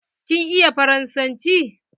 Kin iya faransanci?